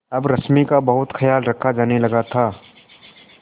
अब रश्मि का बहुत ख्याल रखा जाने लगा था